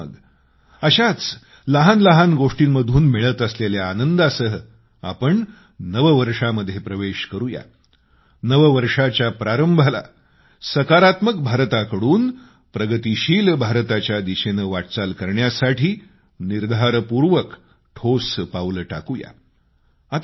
चला तर मग अशाच लहान लहान गोष्टींतून मिळत असलेल्या आनंदासह आपण नववर्षामध्ये प्रवेश करूया नववर्षाच्या प्रारंभाला सकारात्मक भारताकडून प्रगतिशील भारताच्या दिशेनं वाटचाल करण्यासाठी निर्धारपूर्वक ठोस पावलं टाकूया